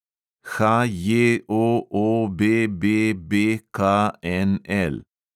HJOOBBBKNL